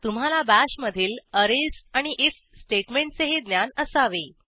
तुम्हाला बाश मधील अरेज आणि आयएफ स्टेटमेंटचेही ज्ञान असावे